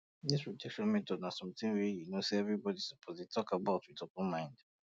this protection methods na um something wey you know say everybody suppose dey talk about with open mind